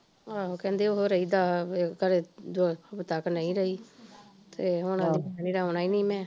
ਆਹੋ ਕਹਿੰਦੇ ਉਹ ਰਹੀ ਦੱਸ ਦੱਸ ਖਰੇ ਉਹ ਹਫਤਾ ਕੁ ਨਹੀਂ ਰਹੀ ਤੇ ਹੁਣ ਆਹ ਕਹਿੰਦੀ ਆਉਣਾ ਈ ਨੀ ਮੈਂ